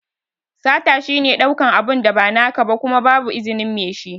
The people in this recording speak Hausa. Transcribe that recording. Sata shi ne ɗaukan abu da ba naka ba Kuma babu izinin Mai shi.